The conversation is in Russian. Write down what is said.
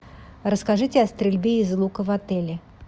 расскажите о стрельбе из лука в отеле